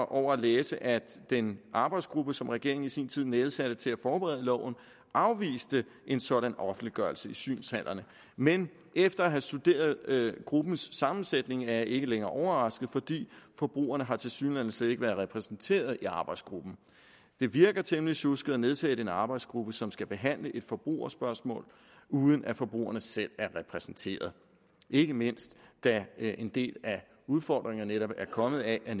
over at læse at den arbejdsgruppe som regeringen i sin tid nedsatte til at forberede loven afviste en sådan offentliggørelse i synshallerne men efter at have studeret gruppens sammensætning er jeg ikke længere overrasket for forbrugerne har tilsyneladende slet ikke været repræsenteret i arbejdsgruppen det virker temmelig sjusket at nedsætte en arbejdsgruppe som skal behandle et forbrugerspørgsmål uden at forbrugerne selv er repræsenteret ikke mindst da en del af udfordringerne netop er kommet af at